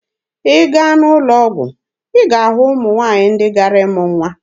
Ị gaa n'ụlọ ọgwụ, ị ga-ahụ ụmụ nwaanyị ndị gara ịmụ nwa.